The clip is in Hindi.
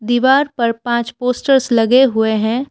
दीवार पर पाँच पोस्टर्स लगे हुए हैं।